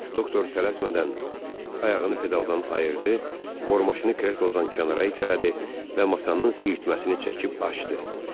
Doktor tələsmədən ayağını pedaldan ayırdı, bormaşını kreslodan kənara itələdi və masanın siyirməsini çəkib açdı.